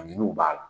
A ɲini u b'a la